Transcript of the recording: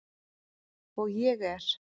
Og ég er.